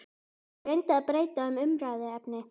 Ég reyndi að breyta um umræðuefni.